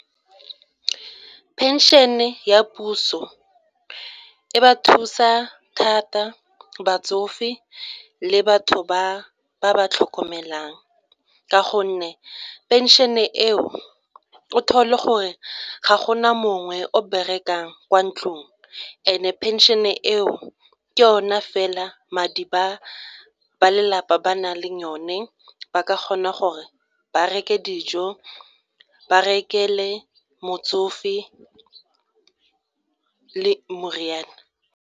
Phenšene ya puso e ba thusa thata batsofe le batho ba ba ba tlhokomelang ka gonne pension-e eo o thole gore ga go na mongwe o berekang kwa ntlong and-e pension eo ke yona fela madi ba ba lelapa ba nang le yone ba ka kgona gore ba reke dijo ba rekele motsofe le moriana.